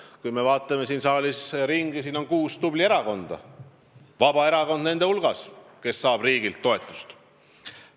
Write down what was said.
Kui me vaatame siin saalis ringi, siis näeme, et siin on kuus tubli erakonda, Vabaerakond nende hulgas, kes saavad riigilt toetust.